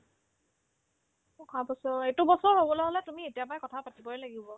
অহাবছৰ এইটো বছৰ হ'বলে হ'লে তুমি এতিয়াৰ পৰা কথাপাতিবই লাগিব